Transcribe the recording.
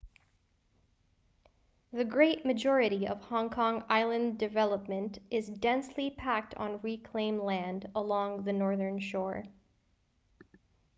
the great majority of hong kong island's urban development is densely packed on reclaimed land along the northern shore